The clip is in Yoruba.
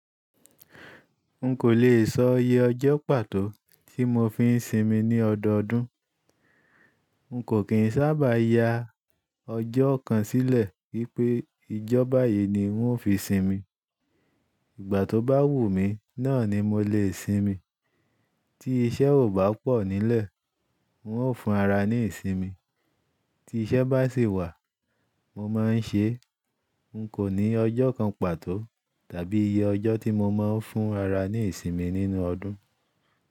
N kò le è sọ iye ọjọ́ pàtó tí mo fi ń sinmi ní ọdọọdún. N kò kín sábà ya ọjọ́ kan sílẹ̀ wípé ìjọ bayìí ni ń ó fi sinmi. Ìgbà tó bá wù mí, náà ni mo le sinmi. Tí iṣẹ́ ò bá pọ̀ nílẹ̀, ń ó fúnra ní ìsinmi. Tí iṣẹ́ bá sì wà, mo má ń ṣe. N kò ní ọjọ́ kan pàtó tàbí iye ọjọ́ tí mo má ń fúnra ní ìsinmi nínú ọdún.